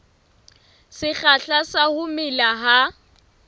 sekgahla sa ho mela ha